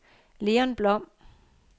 Leon Blom